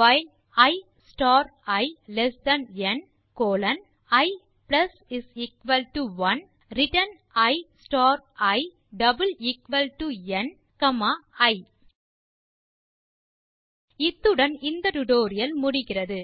while i star i less than n colon i 1 return i star i n comma i இத்துடன் இந்த tutorial முடிகிறது